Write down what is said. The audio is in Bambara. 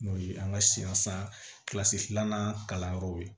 N'o ye an ka siya san kilasi filanan kalan yɔrɔw ye